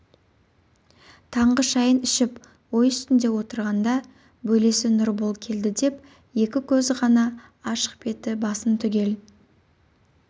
таңғы шәйін ішіп ой үстінде отырғанда бөлесі нұрбол келді деп екі көзі ғана ашық беті басын түгел